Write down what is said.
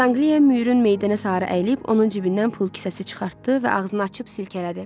Sanqliya Müürün meydanə sarı əyilib, onun cibindən pul kisəsi çıxartdı və ağzını açıb silkələdi.